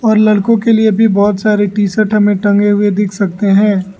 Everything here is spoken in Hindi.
और लड़कों के लिए भी बहोत सारे टी_शर्ट हमें टंगे हुए दिख सकते हैं।